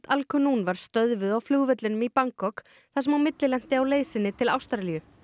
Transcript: al Qunun var stöðvuð á flugvellinum í Bangkok þar sem hún millilenti á leið sinni til Ástralíu